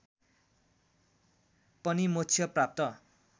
पनि मोक्ष प्राप्त